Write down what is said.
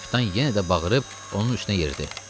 Kapitan yenə də bağırıb onun üstünə yeridi.